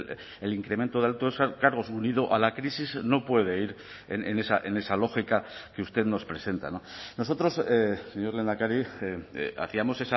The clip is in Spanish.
el incremento de altos cargos unido a la crisis no puede ir en esa lógica que usted nos presenta nosotros señor lehendakari hacíamos